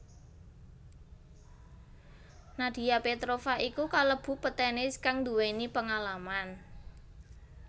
Nadia Petrova iku kalebu petenis kang nduwéni pengalaman